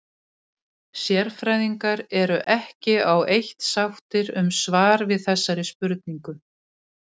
Sérfræðingar eru ekki á eitt sáttir um svar við þessari spurningu.